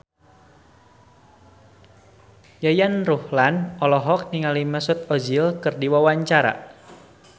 Yayan Ruhlan olohok ningali Mesut Ozil keur diwawancara